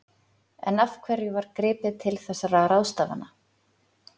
En af hverju var gripið til þessara ráðstafana?